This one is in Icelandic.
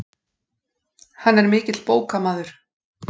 Hann er mikill bókamaður.